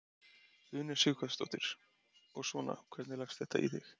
Una Sighvatsdóttir: Og svona, hvernig leggst þetta í þig?